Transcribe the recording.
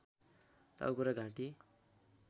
टाउको र घाँटी